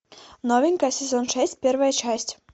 новенькая сезон шесть первая часть